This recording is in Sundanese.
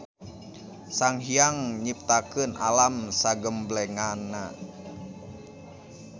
Sanghiyang nyiptakeun alam sagemblengna.